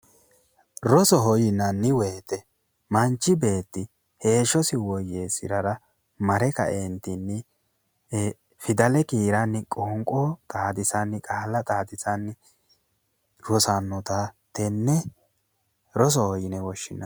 Rosoho yinanni woyite manchi beetti heeshshosi woyyeessirara mare kaeentinni fidale kiiranni qoonqo xaadisanni qaalla xaadisanni rosannota tenne rosoho yine woshshinanni